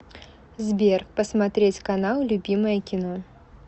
сбер посмотреть канал любимое кино